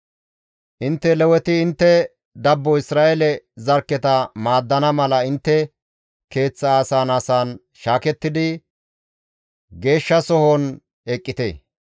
«Intte Leweti intte dabbo Isra7eele zarkketa maaddana mala intte keeththa asan asan shaakettidi geeshshasohon eqqite;